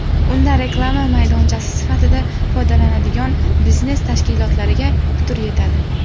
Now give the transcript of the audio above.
Unda reklama maydonchasi sifatida foydalanadigan biznes tashkilotlariga putur yetadi.